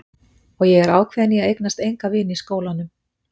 Og ég er ákveðin í að eignast enga vini í skólanum.